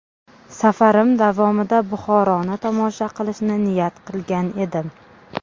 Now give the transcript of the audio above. Safarim davomida Buxoroni tomosha qilishni niyat qilgan edim.